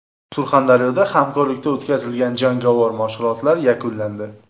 Surxondaryoda hamkorlikda o‘tkazilgan jangovar mashg‘ulotlar yakunlandi.